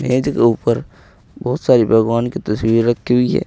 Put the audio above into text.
मेज के ऊपर बहुत सारी भगवान की तस्वीर रखी हुई है।